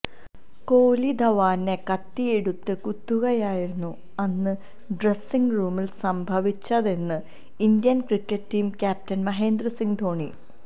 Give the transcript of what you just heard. കോഹ്ലി ധവാനെ കത്തി എടുത്ത് കുത്തുകയായിരുന്നു അന്ന് ഡ്രസിംഗ് റൂമില് സംഭവിച്ചതെന്ന് Indian cricket team captain Mahendra Singh Dhoni